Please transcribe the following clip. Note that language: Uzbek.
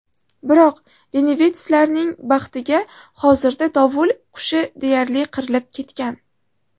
Biroq lenivetslarning baxtiga hozirda dovul qushi deyarli qirilib ketgan.